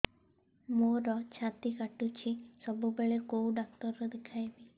ମୋର ଛାତି କଟୁଛି ସବୁବେଳେ କୋଉ ଡକ୍ଟର ଦେଖେବି